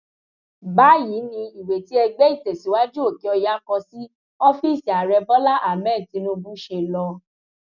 báyìí ni ìwé tí ẹgbẹ ìtẹsíwájú òkèọyà kọ sí ọfíìsì ààrẹ bọlá ahmed tinubu ṣe lọ